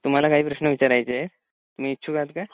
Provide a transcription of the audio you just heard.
तुम्हाला काही प्रश्न विचारायचे आहे तुम्ही इच्छुक आहात का?